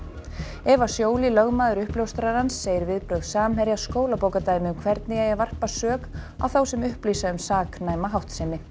Eva lögmaður uppljóstrarans segir viðbrögð Samherja skólabókardæmi um hvernig eigi að varpa sök á þá sem upplýsa um saknæma háttsemi